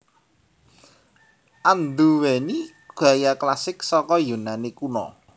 Anduwèni gaya klasik saka Yunani Kuna